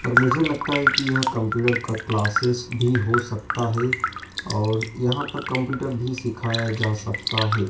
पर मुझे लगता है कि यह कंप्यूटर का क्लासेस भी हो सकता है और यहां पर कंप्यूटर भी सिखाया जा सकता है।